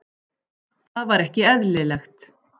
Það var ekki eðlilegt.